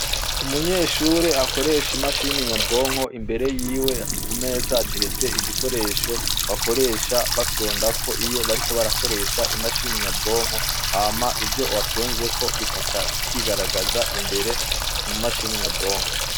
Umunyeshure akoresha imashini nyabwonko imbere yiwe kumeza hateretse igikoresho bakoresha bafyonda ko iyo bariko badakoresha imashini nyabwonko, hama ivyo wafyonzeko bikaca vyigaragaza imbere mumashini nyabwonko.